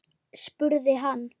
spurði hann.